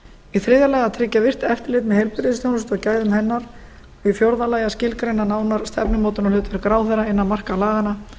í þriðja lagi að tryggja virkt eftirlit með heilbrigðisþjónustu og gæðum hennar og í fjórða lagi að skilgreina nánar stefnumótunarhlutverk ráðherra innan marka laganna